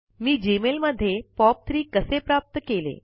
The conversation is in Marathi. मी जीमेल मध्ये पॉप3 कसे प्राप्त केले